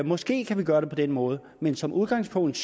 måske kan vi gøre det på den måde men som udgangspunkt